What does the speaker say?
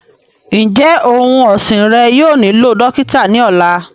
Njẹ ọun ọsin rẹ yóò nilo dokita ni ọla?